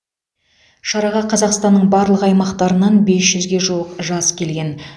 шараға қазақстанның барлық аймақтарынан бес жүзге жуық жас келген